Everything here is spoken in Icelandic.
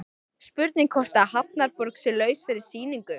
Spurning hvort að Hafnarborg sé laus fyrir sýningu?